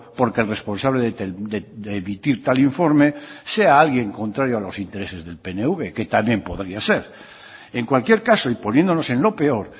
porque el responsable de emitir tal informe sea alguien contrario a los intereses del pnv que también podría ser en cualquier caso y poniéndonos en lo peor